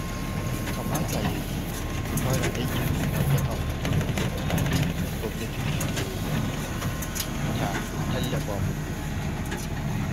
Kamata ya yi ku fara aikin da kanku kafin gwamnati ta shigo ta tallafa muku.